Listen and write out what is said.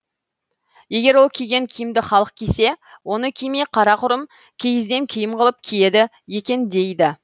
егер ол киген киімді халық кисе оны кимей қарақұрым киізден киім қылып киеді екен дейді